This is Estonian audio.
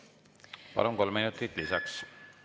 Palun, kolm minutit lisaks!